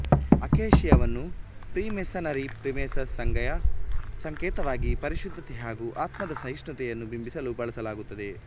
ಅಕೇಶಿಯವನ್ನು freemasonry freemason ಸಂಘಯ ಸಂಕೇತವಾಗಿ ಪರಿಶುದ್ಧತೆ ಹಾಗು ಆತ್ಮದ ಸಹಿಷ್ಣುತೆಯನ್ನು ಬಿಂಬಿಸಲು ಬಳಸಲಾಗುತ್ತದೆ